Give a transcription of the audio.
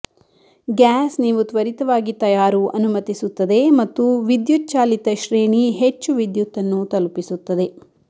gas ನೀವು ತ್ವರಿತವಾಗಿ ತಯಾರು ಅನುಮತಿಸುತ್ತದೆ ಮತ್ತು ವಿದ್ಯುಚ್ಚಾಲಿತ ಶ್ರೇಣಿ ಹೆಚ್ಚು ವಿದ್ಯುತ್ ಅನ್ನು ತಲುಪಿಸುತ್ತದೆ